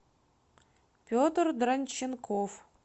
петр дранченков